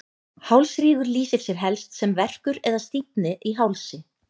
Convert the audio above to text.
Hálsrígur lýsir sér helst sem verkur eða stífni í hálsi.